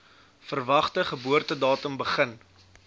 verwagte geboortedatum begin